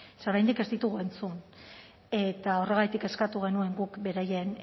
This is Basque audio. ze oraindik ez ditugu entzun eta horregatik eskatu genuen guk beraien